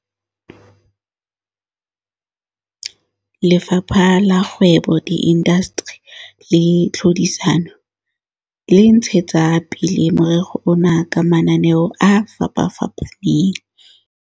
Lefapha la Kgwebo, Diindasteri le Tlhodisano, dtic, le ntshetsa pele morero ona ka mananeo a fapafapaneng.